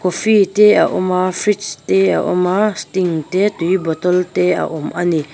coffee te a awm a fridge te a awma sting te tui bottle te a awm a ni.